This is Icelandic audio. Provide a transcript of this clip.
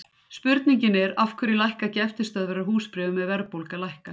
spurningin er af hverju lækka ekki eftirstöðvar á húsbréfum ef verðbólga lækkar